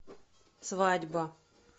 свадьба